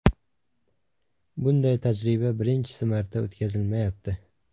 Bunday tajriba birinchisi marta o‘tkazilmayapti.